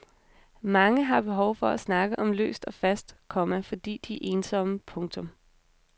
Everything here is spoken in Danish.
Mange har behov for at snakke om løst og fast, komma fordi de er ensomme. punktum